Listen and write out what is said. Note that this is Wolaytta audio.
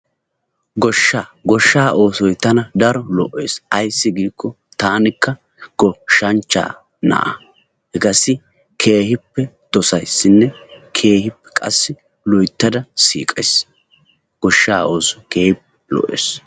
Goshshaa goshshaa tana daro lo'ees, ayssi giikko taanikka goshshanchchaa na'aa, hegaassi keehippe dossayssinne keehippe qassi loyttada siiqqays goshshaa oosoy keehippe lo'ees.